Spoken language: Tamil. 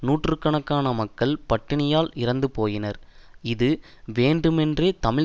நூற்று கணக்கான மக்கள் பட்டினியினால் இறந்து போயினர் இது வேண்டுமேன்றே தமிழ்